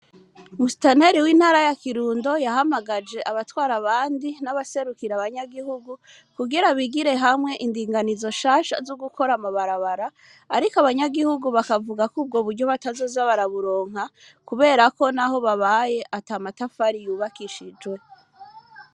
Musitaneli w'intara ya kirundo yahamagaje abatwara abandi n'abaserukira abanyagihugu kugira bigire hamwe indinganizo shasha z'ugukora amabarabara, ariko abanyagihugu bakavugako ubwo buryo batazoza baraburonka kuberako na ho babaye ata matafari yubakishijwe.